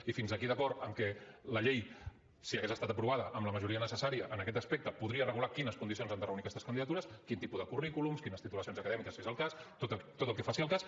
i fins aquí d’acord amb que la llei si hagués estat aprovada amb la majoria necessària en aquest aspecte podria regular quines condicions han de reunir aquestes candidatures quin tipus de currículums quines titulacions acadèmiques si és el cas tot el que faci al cas